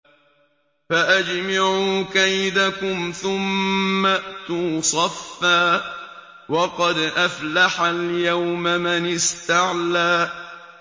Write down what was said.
فَأَجْمِعُوا كَيْدَكُمْ ثُمَّ ائْتُوا صَفًّا ۚ وَقَدْ أَفْلَحَ الْيَوْمَ مَنِ اسْتَعْلَىٰ